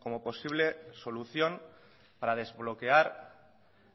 como posible solución para desbloquear